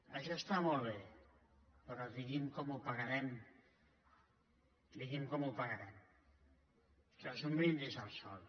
això està molt bé però digui’m com ho pagarem digui’m com ho pagarem això és un brindis al sol